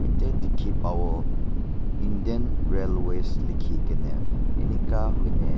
etia dekhi pabo indian railways likhi kena ening ka hoine.